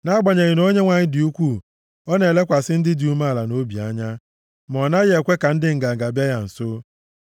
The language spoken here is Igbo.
Nʼagbanyeghị na Onyenwe anyị dị ukwuu, ọ na-elekwasị ndị dị umeala nʼobi anya, ma ọ naghị ekwe ka ndị nganga bịa ya nso.